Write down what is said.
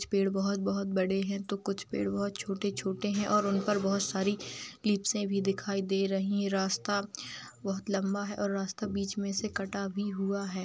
कुछ पेड़ बहुत बहुत बड़े हैं तो कुछ पेड़ बहुत छोटे छोटे हैं और उन पर बहुत सारी लिपसे भी दिखाई दे रही है। रास्ता बहुत लंबा है और रास्ता बीच में से कटा भी हुआ है।